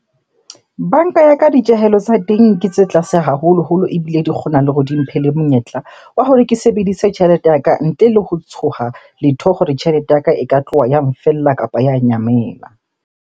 Banka ya ka, ditjehelo tsa teng ke tse tlase haholoholo. Ebile di kgona le ho di mphe le monyetla wa hore ke sebedise tjhelete ya ka ntle le ho tshoha letho hore tjhelete ya ka e ka tloha ya nfella kapa ya nyamela.